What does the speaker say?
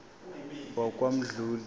wakwamdluli